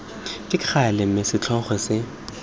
ka gale mme setlhogo se